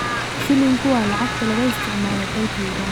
Shilinku waa lacagta laga isticmaalo dalka Uganda.